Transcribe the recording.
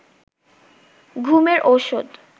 ঘুমের ঔষধ